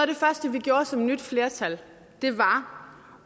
det første vi gjorde som nyt flertal var